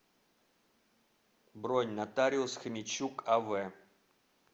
бронь нотариус хомячук ав